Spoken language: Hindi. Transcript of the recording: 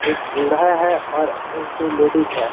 बूढ़ा है और एक कोई लेडिस है।